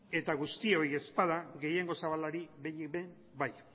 eta guztioi ez bada gehiengo zabalari behinik behin bai